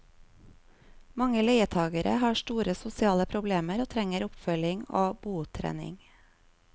Mange leietagere har store sosiale problemer og trenger oppfølging og botrening.